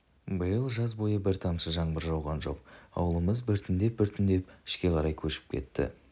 биыл жаз бойы бір тамшы жаңбыр жауған жоқ ауылымыз біртіндеп-біртіндеп ішке қарай көшіп кетті